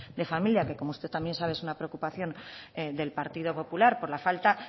de familia que como usted también sabe es una preocupación del partido popular por la falta